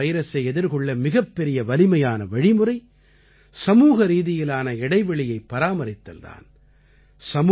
corona வைரசை எதிர்கொள்ள மிகப்பெரிய வலிமையான வழிமுறை சமூகரீதியிலான இடைவெளியைப் பராமரித்தல் தான்